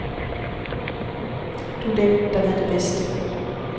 Du er den, der ved det bedst.